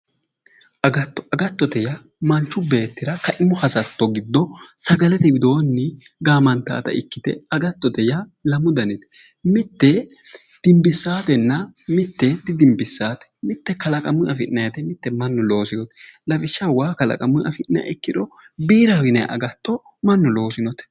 Agatto, agattote yaa manchu beettira kaimu hasatto giddo sagalete widoonni gaamantaata ikkite agattote yaa lamu danite. Mitte dimbissaatenna mitte didimbissaate. Mitte kalaqamuyi afi'nayite mitte mannu looseyote. Lawishshaho waa kalaqamuyi afi'niha ikkiro biiraho yinannihu mannu loosinote.